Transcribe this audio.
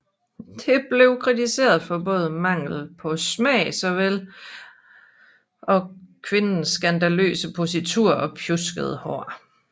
Det blev kritiseret for både mangel på smag såvel og kvindens skandaløse positur og pjuskede hår